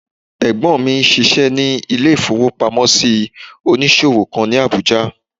Ẹ̀gbọ́n mi obìnrin n ṣiṣẹ́ ní ilé-ìfowópamọ́sí onísòwò kan ní Àbújá